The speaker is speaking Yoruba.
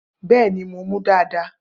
Bẹẹni, mo mú dàdá.